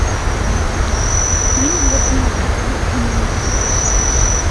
фильм восьмерка включи мне